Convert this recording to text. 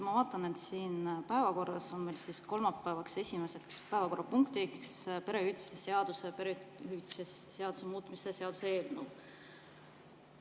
Ma vaatan, et siin päevakorras on meil kolmapäeva esimeseks päevakorrapunktiks perehüvitiste seaduse ning perehüvitiste seaduse, muutmise seaduse eelnõu.